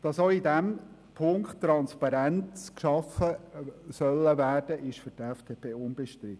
Dass auch in diesem Punkt Transparenz geschaffen werden soll, ist für die FDP unbestritten.